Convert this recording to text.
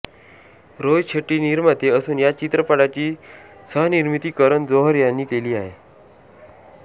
रोहित शेट्टी निर्माते असुन या चित्रपटाची सहनिर्मिती करण जोहर यांनी केली आहे